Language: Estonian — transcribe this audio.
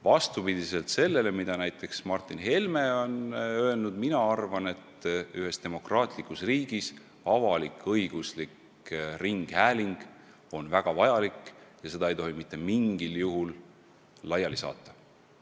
Vastupidi sellele, mida näiteks Martin Helme on öelnud, arvan mina, et ühes demokraatlikus riigis on avalik-õiguslik ringhääling väga vajalik ja seda ei tohi mitte mingil juhul laiali saata.